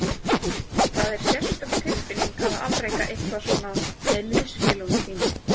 Það er sérstök tilfinning að afreka eitthvað svona með liðsfélögum þínum.